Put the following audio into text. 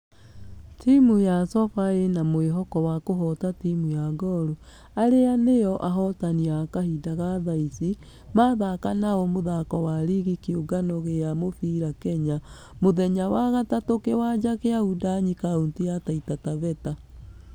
Timũ ya sofa ĩna mwĩhoko wa kũhota timũ ya gor ,arĩa nĩo ahotani wa kahinda ga thaici , mathaka nao mũthako wa rigi ya kĩũngano gĩa mũfira kenya. Mũthenya wa gatatũ kĩwanja gia wundanyi kauntĩ ya taita taveta.